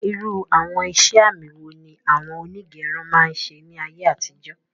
Irú àwọn iṣẹ àmì wo ni awọn onígẹrun máa ń ṣe ní ayé àtijó?